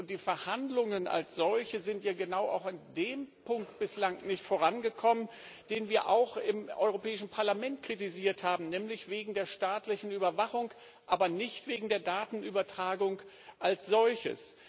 Die Verhandlungen als solche sind genau in dem Punkt bislang nicht vorangekommen, den wir auch im Europäischen Parlament kritisiert haben, nämlich wegen der staatlichen Überwachung, aber nicht wegen der Datenübertragung als solcher.